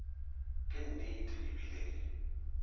ke nnete e bile e